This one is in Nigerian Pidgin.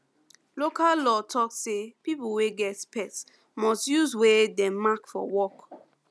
local law talk say people wey get pet must use wey dem mark for walk